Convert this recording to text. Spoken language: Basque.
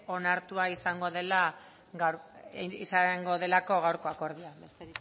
onartua izango delako gaurko akordioa besterik